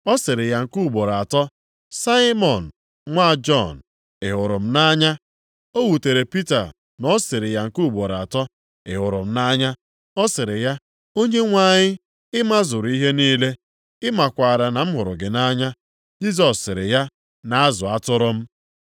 Ọ sịrị ya nke ugboro atọ, “Saimọn nwa Jọn, ị hụrụ m nʼanya?” O wutere Pita na ọ sịrị ya nke ugboro atọ, “ị hụrụ m nʼanya?” Ọ sịrị ya, “Onyenwe anyị, ị mazuru ihe niile, ị makwaara na m hụrụ gị nʼanya.” Jisọs sịrị ya, “Na-azụ atụrụ m.